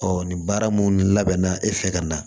nin baara mun labɛnna e fɛ ka na